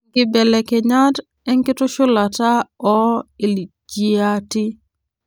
inkibelekenyat enkitushulata ,oo ijiati .